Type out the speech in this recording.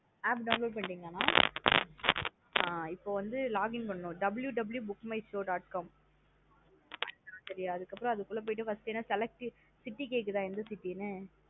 App download பன்ணீடீங்களா நா ஆஹ் இப்போ வந்து login பண்ணனும் www book my show dot com செரியா அதுக்கப்றம் அதுக்குள்ள போயிட்டு first ஏன்னா select பண்ணி city கேக்குதா எந்த city னு